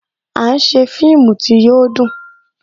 À ń ṣe fíìmù tí yo dùn